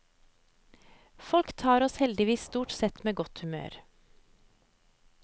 Folk tar oss heldigvis stort sett med godt humør.